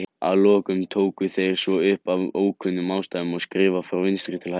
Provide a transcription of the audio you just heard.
Að lokum tóku þeir svo upp, af ókunnum ástæðum, að skrifa frá vinstri til hægri.